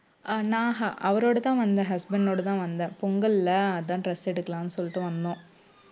அஹ் நான் அவரோடதான் வந்தேன் husband ஓட தான் வந்தேன் பொங்கல்ல அதான் dress எடுக்கலான்னு சொல்லிட்டு வந்தோம்